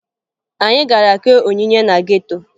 Anyị gara kee onyinye na geto